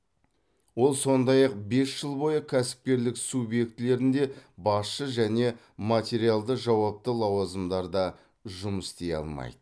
ол сондай ақ бес жыл бойы кәсіпкерлік субъектілерінде басшы және материалды жауапты лауазымдарда жұмыс істей алмайды